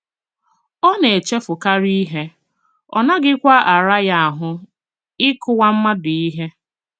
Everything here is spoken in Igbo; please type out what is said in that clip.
Ọ na - echefukarị ihe, ọ naghịkwa ara ya ahụ́ ịkụwa mmadụ ihe.